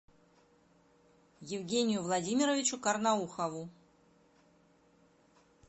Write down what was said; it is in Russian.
евгению владимировичу карнаухову